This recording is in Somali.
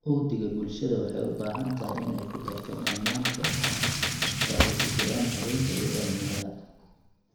Uhdhigga bulshada waxay u baahan tahay inay ku darto dhammaan kooxaha, oo ay ku jiraan haweenka iyo dhalinyarada.